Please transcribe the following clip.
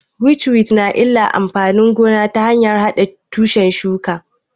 Witchweed na yin illa ga amfanin gona ta hanyar haɗe tushen shuka